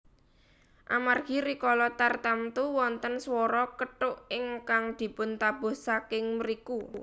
Amargi rikala tartamtu wonten swara kethuk ingkang dipuntabuh saking mriku